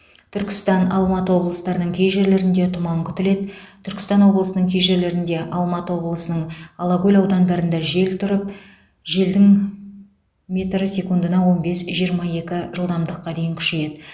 түркістан алматы облыстарының кей жерлерінде тұман күтіледі түркістан облысының кей жерлерінде алматы облысының алакөл аудандарында жел тұрып желдің метрі секундына он бес жирма екі жылдамдыққа дейін күшейеді